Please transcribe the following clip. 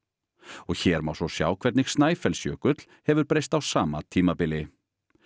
og hér má svo sjá hvernig Snæfellsjökull hefur breyst á sama tímabili